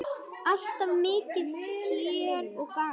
Alltaf mikið fjör og gaman.